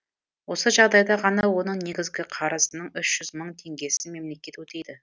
осы жағдайда ғана оның негізгі қарызының үш жүз мың теңгесін мемлекет өтейді